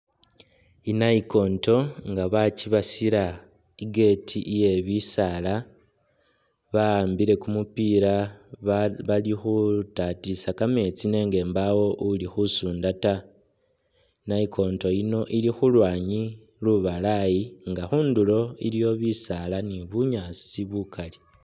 Inayikonto nga bakyibasila i'gate iye bisaala bahambile kumupila balikhutatisa kameetsi nenga mpawo uli khusunda ta, nayikonto eyi ili khulwanyi lubalayi nga khundulo iliwo bisaala ni bunyasi bukali.